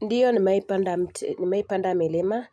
Ndiyo nimewahi panda mti nimewahi panda milima